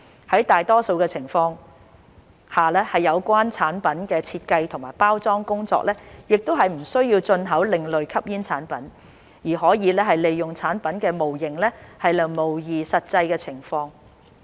在大多數的情況下，有關產品的設計及包裝工作亦不需要進口另類吸煙產品，而可以利用產品模型來模擬實際情況。